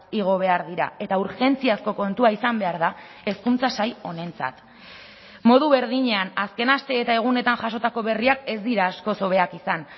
igo behar dira eta urgentziazko kontua izan behar da hezkuntza sail honentzat modu berdinean azken aste eta egunetan jasotako berriak ez dira askoz hobeak izan